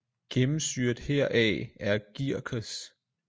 Gennemsyret heraf er gierkes